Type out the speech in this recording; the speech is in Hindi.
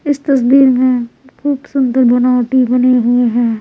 इस तसदीर में खूब सुंदर बनावटी बनी हुई है।